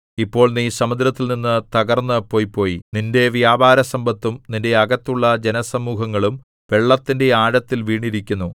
ഇപ്പോൾ നീ സമുദ്രത്തിൽനിന്ന് തകർന്നു പൊയ്പോയി നിന്റെ വ്യാപാരസമ്പത്തും നിന്റെ അകത്തുള്ള ജനസമൂഹങ്ങളും വെള്ളത്തിന്റെ ആഴത്തിൽ വീണിരിക്കുന്നു